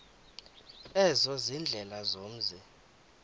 ezo ziindlela zomzi